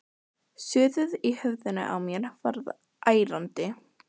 Suðið í höfðinu á mér varð ærandi.